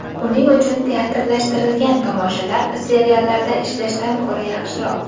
Uning uchun teatrlashtirilgan tomoshalar seriallarda ishlashdan ko‘ra yaxshiroq.